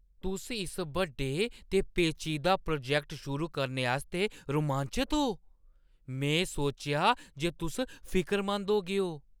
तुस इस बड्डे ते पेचीदा प्रोजैक्ट शुरू करने आस्तै रोमांचत ओ? में सोचेआ जे तुस फिकरमंद होगेओ।